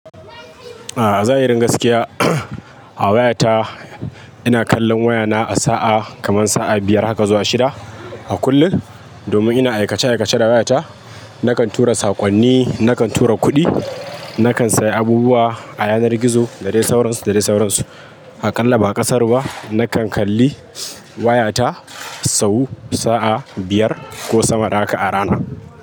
Ah, zahirin gaskiya. A wayata, ina kallon wayana a sa'a, kaman sa'a biyar haka zuwa shida, a kullum. Domin ina aikace-aikace da wayata. Nakan tura sakonni, nakan tura kuɗi, nakan sayi abubuwa a yanar gizo, da dai sauransu, da dai sauransu. Aƙalla ba ƙasara ba, nakan kalli wayata sau sa'a biyar, ko sama da haka a rana.